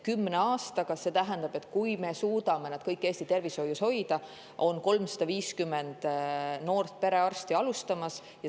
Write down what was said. Kümne aastaga, kui me suudame neid kõiki Eesti tervishoius hoida, on 350 noort perearsti.